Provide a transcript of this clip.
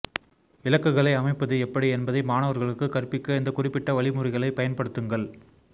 இலக்குகளை அமைப்பது எப்படி என்பதை மாணவர்களுக்கு கற்பிக்க இந்த குறிப்பிட்ட வழிமுறைகளைப் பயன்படுத்துங்கள்